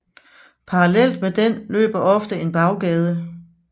Parallelt med den løber ofte en Baggade